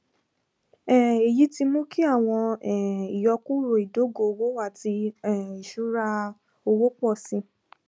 um eyi ti mu ki awọn um iyọkuro idogo owo ati um iṣura owo pọ si